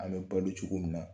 An bɛ balo cogo min na